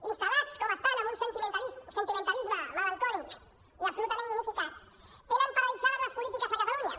instal·lats com estan en un sentimentalisme melancòlic i absolutament ineficaç tenen paralitzades les polítiques a catalunya